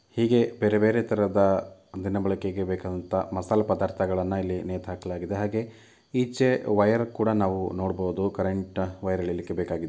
ಹೀಗೆ ಬೇರೆ ಬೇರೆ ತರದ ದಿನಬಳಕೆಗೆ ಬೇಕಾದಂತಹ ಮಸಾಲಾ ಪದಾರ್ಥಗಳನ್ನ ಇಲ್ಲಿ ನೇತಾಕಲಾಗಿದೆ ಈಚೆ ಹಾಗೆ ವಯರ್ ಕೂಡ ನಾವು ನೋಡಬಹುದು ಕರೆಂಟ್ ವಯರ್ ಎಳೆಯಲಿಕ್ಕೆ ಬೇಕಾಗು --